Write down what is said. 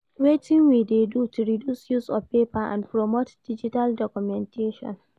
Wetin we dey do to reduce use of paper and promote digital documentation?